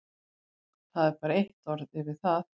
Það er bara eitt orð yfir það.